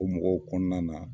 O mɔgɔw kɔnɔna na